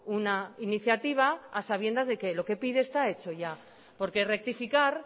una iniciativa a sabiendas de que lo que pide está hecho ya porque rectificar